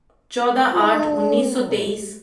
چودہ آٹھ انیسو تئیس